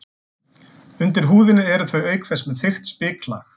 Undir húðinni eru þau auk þess með þykkt spiklag.